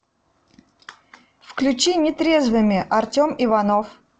включи нетрезвыми артем иванов